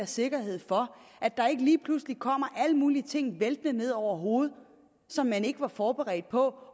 sikkerhed for at der ikke lige pludselig kommer alle mulige ting væltende ned over hovedet som man ikke var forberedt på